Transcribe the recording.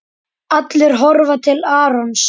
Allir horfa til Arons.